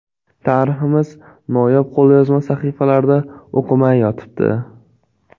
Tariximiz noyob qo‘lyozma sahifalarida o‘qilmay yotibdi.